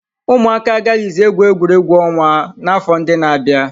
Ụmụaka agaghịzi egwu egwuregwu ọnwa n'afọ ndị na-abịa.